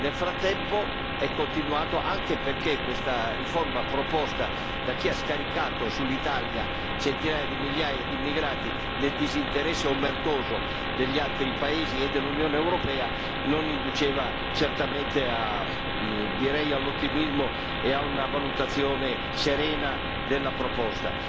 Nel frattempo, è continuato anche perché questa riforma proposta da chi ha scaricato sull'Italia centinaia di migliaia di immigrati nel disinteresse omertoso degli altri paesi e dell'Unione europea non induceva certamente all'ottimismo e a una valutazione serena della proposta.